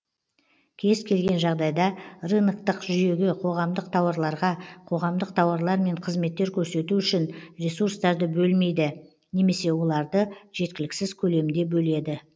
кез келген жағдайда рыноктық жүйеге қоғамдық тауарларға қоғамдық тауарлар мен кызметтер көрсету үшін ресурстарды бөлмейді немесе оларды жеткіліксіз көлемде бөледі